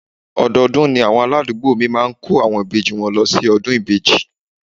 Ọdọọdún ni àwọn aládùúgbò mi máa ń kó àwọn ìbejì wọn lọ síbi ọdún ìbejì